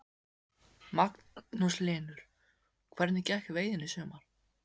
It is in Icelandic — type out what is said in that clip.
Magnús Hlynur: Hvernig gekk veiðin í sumar?